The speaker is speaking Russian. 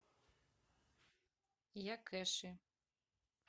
якэши